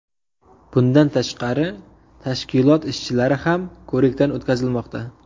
Bundan tashqari, tashkilot ishchilari ham ko‘rikdan o‘tkazilmoqda.